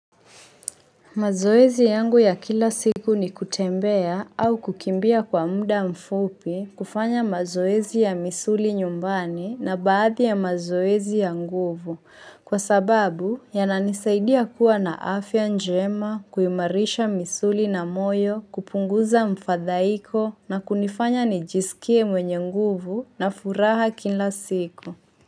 Mazoezi yangu ya kila siku ni kutembea au kukimbia kwa muda mfupi kufanya mazoezi ya misuli nyumbani na baadhi ya mazoezi ya nguvu. Kwa sababu yananisaidia kuwa na afya njema kuimarisha misuli na moyo kupunguza mfadhaiko na kunifanya nijisikie mwenye nguvu na furaha kila siku.